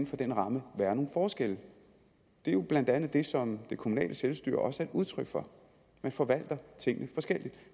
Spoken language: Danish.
for den ramme være nogle forskelle det er jo blandt andet det som det kommunale selvstyre også er udtryk for man forvalter tingene forskelligt